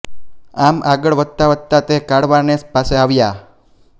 આમ આગળ વધતા વધતા તે કાળવાનેસ પાસે આવ્યા